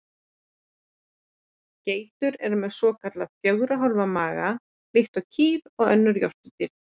Geitur eru með svokallaðan fjögurra hólfa maga líkt og kýr og önnur jórturdýr.